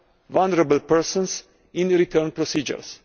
vulnerable persons in the return procedures.